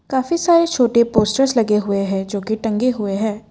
काफी सारे छोटे पोस्टर्स लगे हुए हैं जो की टंगे हुए हैं।